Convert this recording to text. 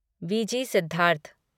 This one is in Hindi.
वीजी सिद्धार्थ